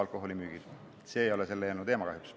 Turismimaks ei ole kahjuks selle eelnõu teema.